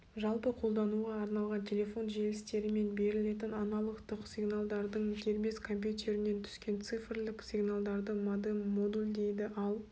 жалпы қолдануға арналған телефон желістерімен берілетін аналогтық сигналдардың дербес компьютерінен түскен цифрлік сигналдарды модем модулдейді ал